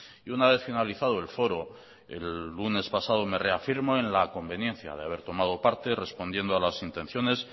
y una vez finalizado el foro el lunes pasado me reafirmo en la conveniencia de haber tomado parte respondiendo a las intenciones